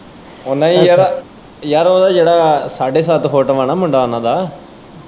ਓ ਨਈ ਜੇੜਾ ਯਾਰ ਓਦਾ ਜੇੜਾ ਸਾਡੇ ਸੱਤ ਫੁੱਟ ਵਾ ਨਾ ਮੁੰਡਾ ਉਨਾਂ ਦਾ।